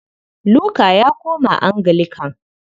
Luka ya koma Anglican.